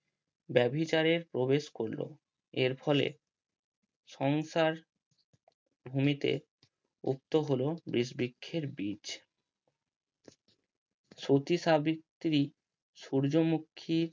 ব্যাবিচারের প্রবেশ করলো এর ফলে সংসার ভূমিতে উক্ত হলো বীচ বৃক্ষের বীচ সতী সাবিত্রী সূর্যমুখী